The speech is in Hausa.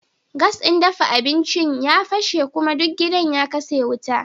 Gas din dafa abinci ya fashe kuma duk gidan ya katse wuta